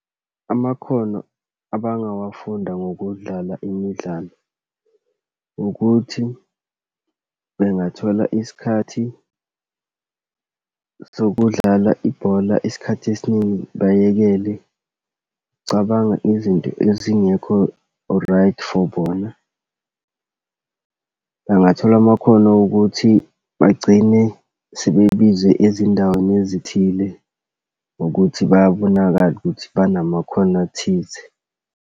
Amakhono abangawafunda ngokudlala imidlalo, ukuthi bengathola isikhathi sokudlala ibhola. Isikhathi esiningi bayekele ukucabanga izinto ezingekho right for bona. Bangathola amakhono ukuthi bagcine sebebizwe ezindaweni ezithile ngokuthi bayabonakala ukuthi banamakhono athize.